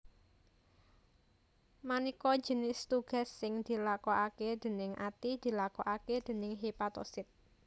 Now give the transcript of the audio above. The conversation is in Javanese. Manéka jinis tugas sing dilakokaké déning ati dilakokaké déning hepatosit